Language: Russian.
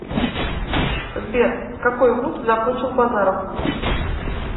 сбер какой вуз закончил базаров